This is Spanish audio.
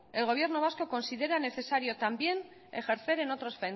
el gobierno vasco considera necesarios también ejercer en otros